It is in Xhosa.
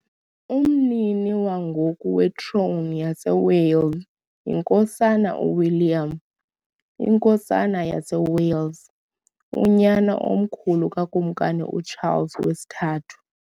Umnini wangoku wetrone yaseWales yiNkosana uWilliam, iNkosana yaseWales, unyana omkhulu kaKumkani uCharles III .